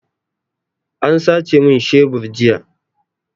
An sace min shebur jiya.